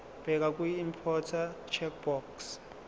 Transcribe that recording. bheka kwiimporter checkbox